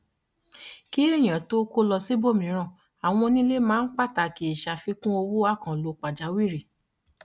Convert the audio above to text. kí èyàn tó kó lọ síbòmíràn àwọn onílé máa ń pàtàkì ìṣàfikùn owó àkànlò pàjàwìrì